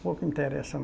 Pouco interessa